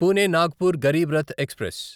Pune Nagpur Garib Rath express